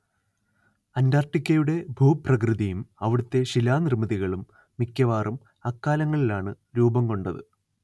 അന്റാർട്ടിക്കയുടെ ഭൂപ്രകൃതിയും അവിടുത്തെ ശിലാനിർമ്മിതികളും മിക്കവാറും അക്കാലങ്ങളിലാണ് രൂപം കൊണ്ടത്